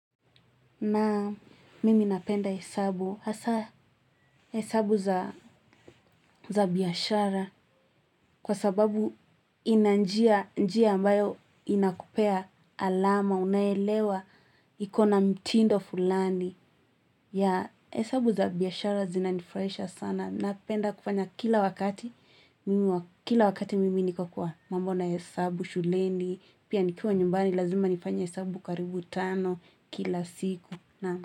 Na mimi napenda hesabu, hasa hesabu za biashara kwa sababu ina njia njia ambayo inakupea alama, unaelewa, ikona mtindo fulani. Ya hesabu za biashara zinanifuraisha sana. Napenda kufanya kila wakati, kila wakati mimi niko kwa mambo na hesabu, shuleni, pia nikuwa nyumbani, lazima nifanye hesabu karibu tano kila siku.